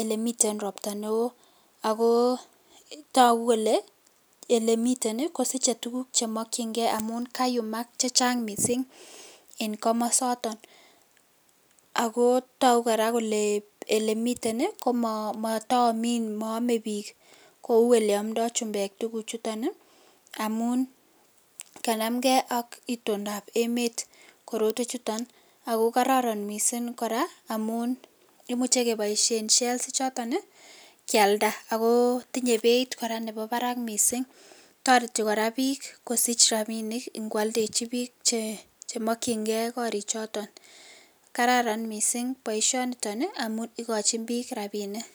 olemiten ropta neoo agoo togu kole olemiten iih kontinye tuguk che chemokyingee amun kayumaak chechang mising en komosoton agoo togu koraa kelee elemiten koo moome biik kouu oleomdoo chumbeek tuguk chuton iih omuun kanamgee ak itondo ab emet korotwek chuton ago kororon mising koraa omun kimuche keboisien shelve ichoton iih kyalda agoo tinye beeit koraa nebo barak mising, toreti koraa biik kosich rabinik chemokyingee koriik choton, kararan mising boisyoniton iih amun igojin biik rabinik